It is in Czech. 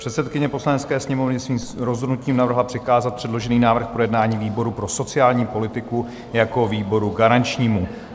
Předsedkyně Poslanecké sněmovny svým rozhodnutím navrhla přikázat předložený návrh k projednání výboru pro sociální politiku jako výboru garančnímu.